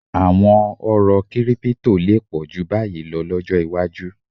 À̀wọn oró kírípítò lè pọ̀ jù báyìí lọ lọ́jọ́ iwájú